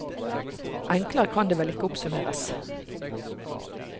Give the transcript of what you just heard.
Enklere kan det vel ikke oppsummeres.